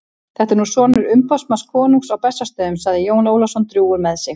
Þetta er nú sonur umboðsmanns konungs á Bessastöðum, sagði Jón Ólafsson drjúgur með sig.